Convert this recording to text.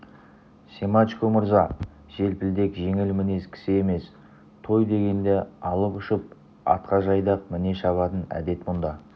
семашко мырза желпілдек жеңіл мінез кісі емес той дегенде алып-ұшып атқа жайдақ міне шабатын әдет мұнда